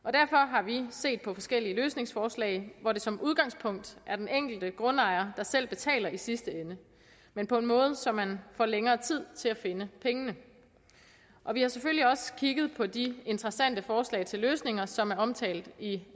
har vi set på forskellige løsningsforslag hvor det som udgangspunkt er den enkelte grundejer der selv betaler i sidste ende men på en måde så man får længere tid til at finde pengene vi har selvfølgelig også kigget på de interessante forslag til løsninger som er omtalt i